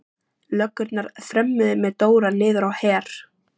Löggurnar þrömmuðu með Dóra niður á Her.